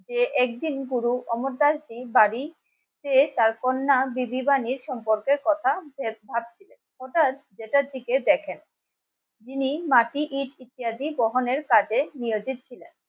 যে একদিন গুরু অমর্ত্য বাড়ি সে তার কন্যা দিদি বানিয়ে সম্পর্কের কথা শেষ ওটার দিকে দেখেন। ইনি মাটি ইট ইত্যাদি বহনের কাজে নিয়োজিত ছিলেন। তখন উপহার শুধু বলেছেন। পানির জন্য গীতা ও অ্যাটাক আর থাকতে হবে